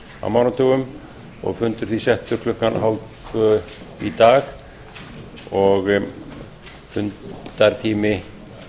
á mánudögum og fundur því settur klukkan þrettán þrjátíu í dag og fundartími